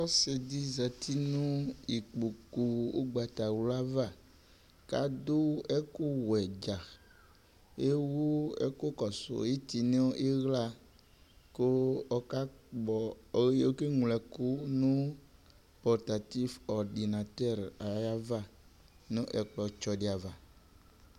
Ɔsɩdɩ zati nʋ ikpoku ʋgbatawla ava kadʋ ɛkʋwɛ dza ,ewu ɛkʋ kɔsʋ ɩtɩ nʋ ɩɣla ,kʋ ɔkakpɔ okeŋlo ɛkʋ nʋ portatif ordinateur ayava nʋ ɛkplɔtsɔ dɩ ava